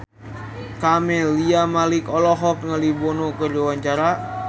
Camelia Malik olohok ningali Bono keur diwawancara